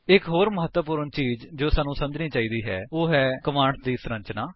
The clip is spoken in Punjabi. ਇੱਕ ਹੋਰ ਮਹੱਤਵਪੂਰਣ ਚੀਜ ਜੋ ਸਾਨੂੰ ਸਮਝਣੀ ਚਾਹੀਦੀ ਹੈ ਉਹ ਹੈ ਕਮਾਂਡਸ ਦੀ ਸੰਰਚਨਾ